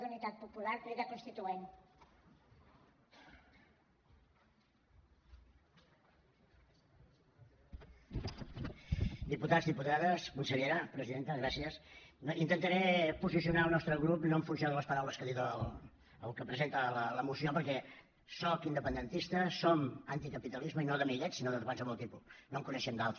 diputats diputades consellera presidenta gràcies intentaré posicionar el nostre grup no en funció de les paraules que ha dit el que presenta la moció perquè soc independentista som anticapitalisme i no d’amiguets sinó de qualsevol tipus no en coneixem d’altre